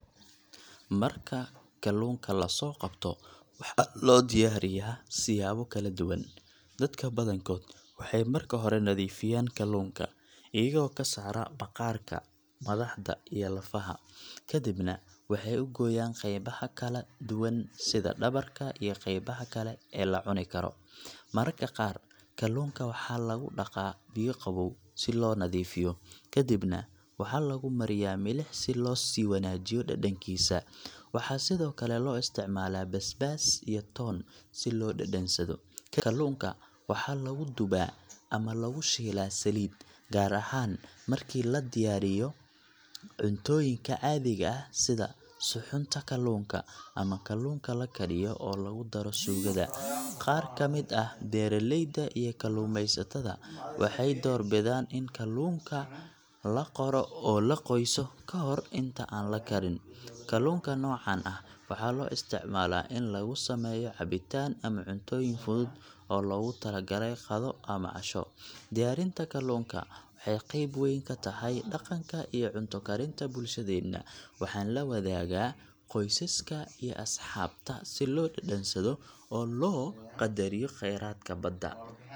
Marka kalluunka la soo qabto, waxaa loo diyaariyaa siyaabo kala duwan. Dadka badankood waxay marka hore nadiifiyaan kalluunka, iyagoo ka saara maqaarka, madaxda iyo lafaha, kadibna waxay u gooyaan qaybaha kala duwan sida dhabarka iyo qeybaha kale ee la cuni karo. Mararka qaar, kalluunka waxaa lagu dhaqaa biyo qabow si loo nadiifiyo, kadibna waxaa lagu mariyaa milix si loo sii wanaajiyo dhadhankiisa. Waxaa sidoo kale loo isticmaalaa basbaas iyo toon si loo dhadhansado. Kadib, kalluunka waxaa lagu dubaa ama lagu shiilaa saliid, gaar ahaan markii laga diyaarinayo cuntooyinka caadiga ah sida suxuunta kalluunka, ama kalluunka la kariyo oo lagu daro suugada. Qaar ka mid ah beeraleyda iyo kalluumeysatada waxay door bidaan in kalluunka la qoro oo la qoyso ka hor inta aan la karin. Kalluunka noocan ah waxaa loo isticmaalaa in lagu sameeyo cabitaan ama cuntooyin fudud oo loogu talagalay qado ama casho. Diyaarinta kalluunka waxay qayb weyn ka tahay dhaqanka iyo cunto karinta bulshadeena, waxaana la wadaagaa qoysaska iyo asxaabta si loo dhadhansado oo loo qadariyo kheyraadka badda.